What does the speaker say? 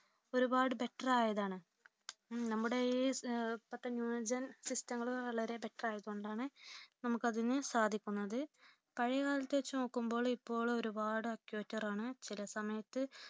ഒരുപാട് better ആയതാണ് നമ്മുടെ ഈ ഇപ്പോഴത്തെ new gen system ങൾ വളരെ better ആയതു കൊണ്ടാണ് നമുക്ക് അതിനു സാധിക്കുന്നത്പഴയകാലത്തെ വച്ച് നോക്കുമ്പോൾ ഇപ്പോൾ ഒരുപാട് accurate ആണ് ചില സമയത്ത്